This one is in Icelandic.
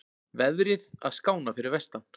Veðrið að skána fyrir vestan